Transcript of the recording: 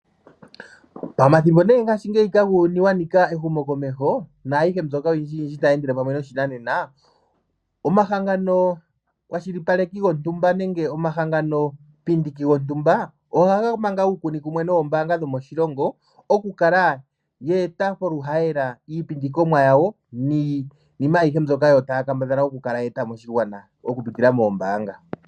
Ngaashi ngeyi uuyuni wanika ehumokomeho nayihe mbyoka oyindji yindji tayendele pamwe noshinanena, Omahangano kwashilipaleki gontumba nenge omahanganopindiki gontumba ohaga manga uunkunikumwe noombanga dhomoshilongo okukala ye eta koluhayela iipindikomwa ya wo niniima ahiye mbyoka takambadha okweeta moshingwana okupitila moombanga.